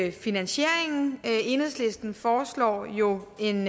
er finansieringen enhedslisten foreslår jo en